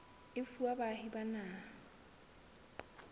e fuwa baahi ba naha